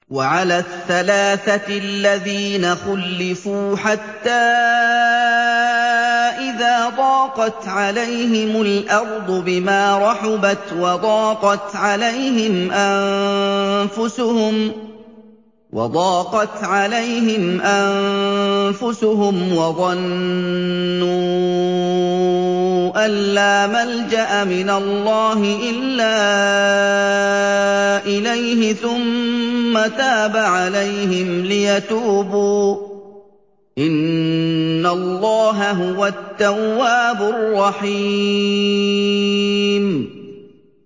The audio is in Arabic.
وَعَلَى الثَّلَاثَةِ الَّذِينَ خُلِّفُوا حَتَّىٰ إِذَا ضَاقَتْ عَلَيْهِمُ الْأَرْضُ بِمَا رَحُبَتْ وَضَاقَتْ عَلَيْهِمْ أَنفُسُهُمْ وَظَنُّوا أَن لَّا مَلْجَأَ مِنَ اللَّهِ إِلَّا إِلَيْهِ ثُمَّ تَابَ عَلَيْهِمْ لِيَتُوبُوا ۚ إِنَّ اللَّهَ هُوَ التَّوَّابُ الرَّحِيمُ